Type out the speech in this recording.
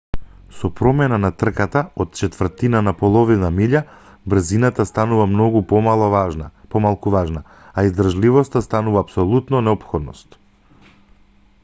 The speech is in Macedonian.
со промена на трката од четвртина во половина милја брзината станува многу помалку важна а издржливоста станува апсолутна неопходност